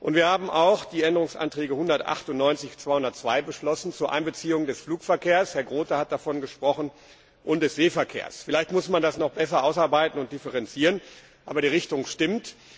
Wir haben auch die Änderungsantrage 198 bis 202 zur Einbeziehung des Flugverkehrs Herr Groote hat davon gesprochen und des Seeverkehrs angenommen. Vielleicht muss man das noch besser ausarbeiten und differenzieren, aber die Richtung stimmt.